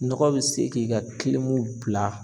Nɔgɔ bi se k'i ka bila